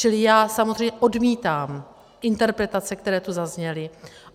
Čili já samozřejmě odmítám interpretace, které tu zazněly.